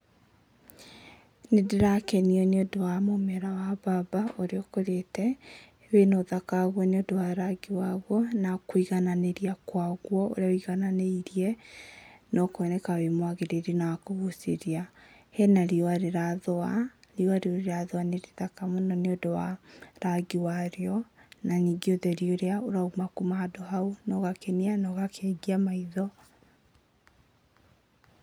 Nĩ ndĩrakenio nĩ ũndũ wa mũmera wa mbaba ũrĩa ũkũrĩte, wĩna ũthaka waguo nĩ ũndũ wa rangi waguo, kũigananĩria kwaguo ũrĩa wũiganananĩirie no koneka wĩ mwagĩrĩru na wa kũguchĩrĩria, hena riũa rĩrathũa, riũa rĩu rĩrathũa nĩ rĩthaka mũno tondũ wa rangi warĩo na ningĩ ũtheri ũrĩa ũrauma kuma handũ hau nogakengia maitho.